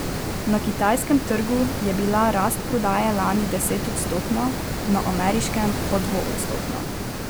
Na kitajskem trgu je bila rast prodaje lani desetodstotna, na ameriškem pa dvoodstotna.